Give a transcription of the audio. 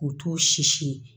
O t'o sisi ye